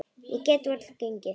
Ég get varla gengið.